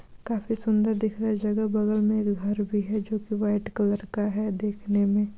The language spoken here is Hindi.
काफी सुन्दर दिख रहा हैं जगह बगल में एक घर भी हैं जो कि व्हाइट कलर का है देखने में।